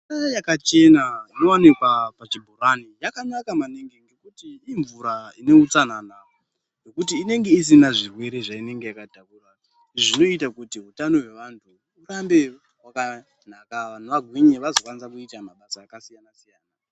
Mvura yakachena inowanikwa pachibhorani yakanaka maningi ngekuti imvura ine utsanana nekuti inenge isina zvirwere zvainenge yakatakura zvinoita kuti hutano hwevanhu hurambe hwakanaka vanhu vagwinye vazokwanisa kuita mabasa kasiyana siyana.